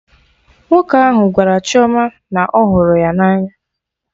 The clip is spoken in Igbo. Nwoke ahụ gwara Chioma na ọhụrụ ya na anya